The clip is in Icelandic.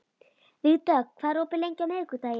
Vígdögg, hvað er opið lengi á miðvikudaginn?